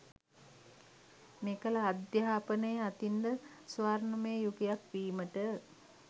මෙකල අධ්‍යාපනය අතින්ද ස්වර්ණමය යුගයක් වීමට